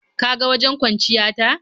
Ka ga wajen kwanciya ta.